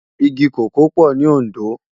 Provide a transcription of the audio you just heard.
Igi kókòó pò ni Ondo